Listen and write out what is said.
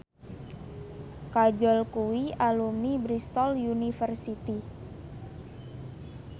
Kajol kuwi alumni Bristol university